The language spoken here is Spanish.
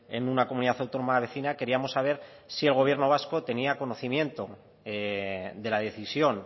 en una comunidad autónoma vecina queríamos saber si el gobierno vasco tenía conocimiento de la decisión